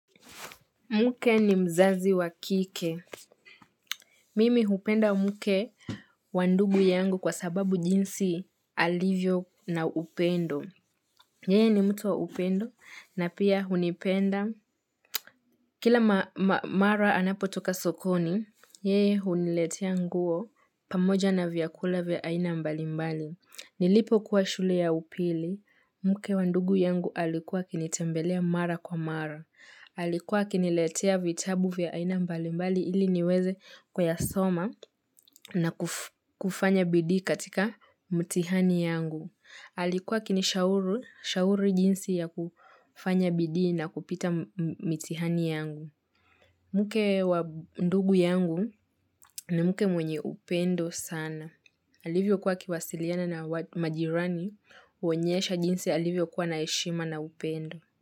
Mke ni mzazi wa kike. Mimi hupenda mke wa ndugu yangu kwa sababu jinsi alivyo na upendo. Yeye ni mtu wa upendo na pia hunipenda. Kila mara anapotoka sokoni, yeye huniletea nguo pamoja na vyakula vya aina mbalimbali. Nilipokua shule ya upili, mke wa ndugu yangu alikuwa akinitembelea mara kwa mara. Alikuwa akiniletea vitabu vya aina mbali mbali ili niweze kuyasoma na kufanya bidii katika mtihani yangu. Alikuwa akinishauru jinsi ya kufanya bidii na kupita mitihani yangu. Mke wa ndugu yangu ni mke mwenye upendo sana. Alivyo kuwa akiwasiliana na majirani huonyesha jinsi alivyo kuwa na heshima na upendo.